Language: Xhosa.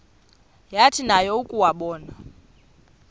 yathi nayo yakuwabona